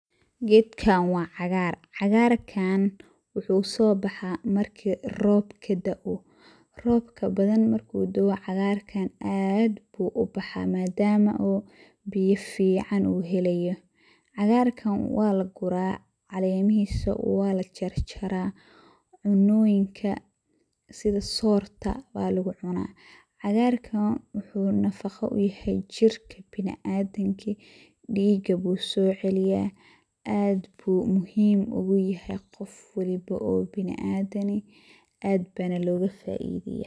Gedkaan waa cagaar, cagaarkaan waxuu soo baxaa marki robka da'oh, robka badan markuu dao' cagarkaan aad buu ubaxaa madama uu biya fiican uu helayo. Cagarkan waa la guraa calemihiisa, waa la jarjaraa, cunnoyinka sida soorta, baa lagu cunaa. Cagarkaan waxuu nafaqa u yahay jirka biniadamaka, dhiga buu soo celiyaa aad buu muhiim ugu yahay qof waliba oo biniadam eh aad baana looga faaidayaa.